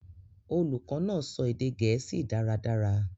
Olukọ naa sọ ede Gẹẹsi dàradàra.